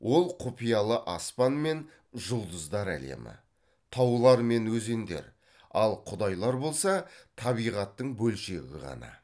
ол құпиялы аспан мен жұлдыздар әлемі таулар мен өзендер ал құдайлар болса табиғаттың бөлшегі ғана